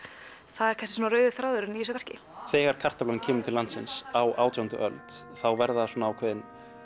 það er kannski rauði þráðurinn í þessu verki þegar kartaflan kemur til landsins á átjándu öld verða ákveðin